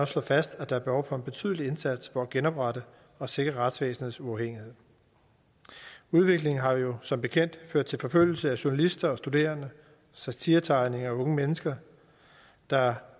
slår fast at der er behov for en betydelig indsats for at genoprette og sikre retsvæsenets uafhængighed udviklingen har jo som bekendt ført til forfølgelse af journalister og studerende satiretegnere og unge mennesker der